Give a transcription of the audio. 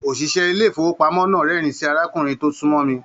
Oṣiṣẹ ilé ifowopamọ náà rẹ́rìn sí arákùnrin tó sunmọ mí.